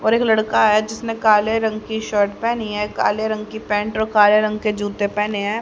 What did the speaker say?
और एक लड़का है जिसने काले रंग की शर्ट पहनी है काले रंग की पैंट और काले रंग की जूते पहने है।